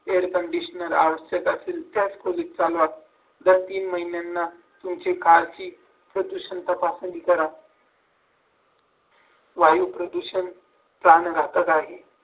air conditioner out setup दर तीन महिन्यांना तुमच्या कारची प्रदूषण तपासणी करा. वायु प्रदूषण प्राण जातात आहे